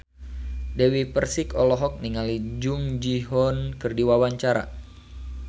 Dewi Persik olohok ningali Jung Ji Hoon keur diwawancara